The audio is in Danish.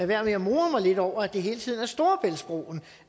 være med at more mig lidt over at det hele tiden er storebæltsbroen